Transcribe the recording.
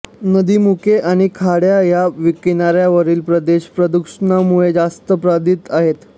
नदीमुखे आणि खाड्या हे किनाऱ्यावरील प्रदेश प्रदूषणामुळे जास्त बाधित आहेत